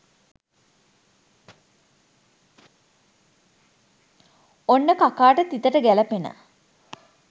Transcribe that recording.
ඔන්න කකාට තිතට ගැලපෙන